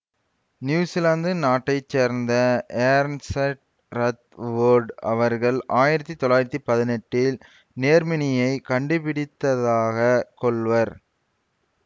New Zealand நாட்டை சேர்ந்த Ernest Rutherford அவர்கள் ஆயிரத்தி தொள்ளாயிரத்தி பதினெட்டில் நேர்மின்னியைக் கண்டுபிடித்ததாகக் கொள்வர்